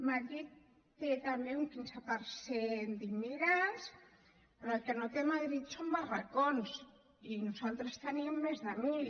madrid té també un quinze per cent d’immigrants però el que no té madrid són barracons i nosaltres en tenim més de mil